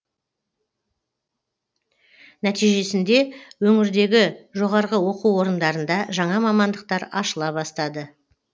нәтижесінде өңірдегі жоғарғы оқу орындарында жаңа мамандықтар ашыла бастады